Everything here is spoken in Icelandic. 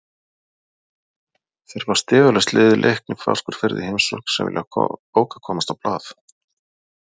Þeir fá stigalaust lið Leikni Fáskrúðsfirði í heimsókn sem vilja bókað komast á blað.